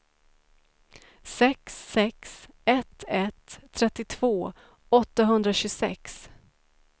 sex sex ett ett trettiotvå åttahundratjugosex